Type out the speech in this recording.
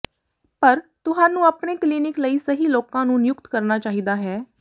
ਪਰ ਤੁਹਾਨੂੰ ਆਪਣੇ ਕਲਿਨਿਕ ਲਈ ਸਹੀ ਲੋਕਾਂ ਨੂੰ ਨਿਯੁਕਤ ਕਰਨਾ ਚਾਹੀਦਾ ਹੈ